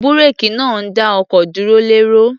Búréèkì náà ń dá ọkọ̀ dúró lẹ́rọ̀.